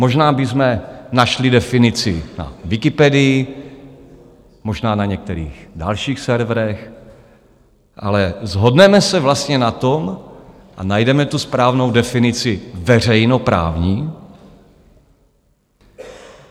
Možná bychom našli definici na Wikipedii, možná na některých dalších serverech, ale shodneme se vlastně na tom a najdeme tu správnou definici "veřejnoprávní"?